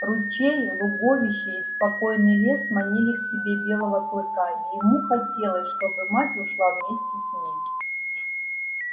ручей луговище и спокойный лес манили к себе белого клыка и ему хотелось чтобы мать ушла вместе с ним